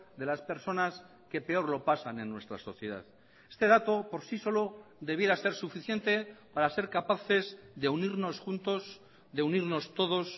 de las personas que peor lo pasan en nuestra sociedad este dato por sí solo debiera ser suficiente para ser capaces de unirnos juntos de unirnos todos